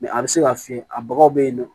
a bɛ se ka fiyɛ a bagaw bɛ yen nɔ